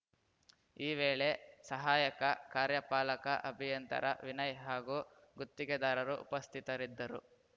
ಈ ವೇಳೆ ಸಹಾಯಕ ಕಾರ್ಯಪಾಲಕ ಅಭಿಯಂತರ ವಿನಯ್‌ ಹಾಗೂ ಗುತ್ತಿಗೆದಾರರು ಉಪಸ್ಥಿತರಿದ್ದರು